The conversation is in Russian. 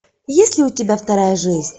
есть ли у тебя вторая жизнь